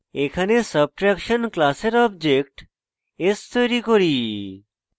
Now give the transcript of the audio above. এখানে subtraction class object s তৈরী করি